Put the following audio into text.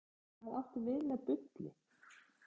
Magnús Hlynur: Hvað áttu við með bulli?